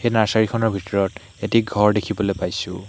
এই নাৰ্চাৰি খনৰ ভিতৰত এটি ঘৰ দেখিবলৈ পাইছোঁ।